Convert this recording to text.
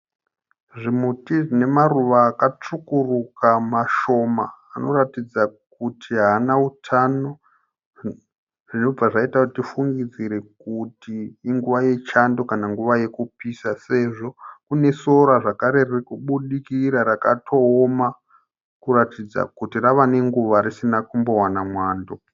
Zvimuti zvinemaruva akatsvukuruka mashoma anoratidza kuti haana utano zvobva zvaita kuti tifungidzire kuti inguva yechando kana nguva yekupisa sezvo kunesora zvakare ririkubudikira rakatooma kuratidza kuti rava nenguva risina kumbowana mwando.